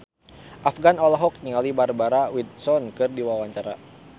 Afgan olohok ningali Barbara Windsor keur diwawancara